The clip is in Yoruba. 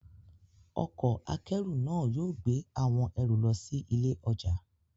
Ọkọ̀ akẹ́rù náà yóò gbé àwọn ẹrù lọ sí ilé ọjà.